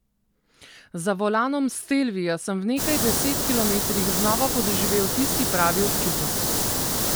Za volanom stelvia sem v nekaj deset kilometrih znova podoživel tisti pravi občutek.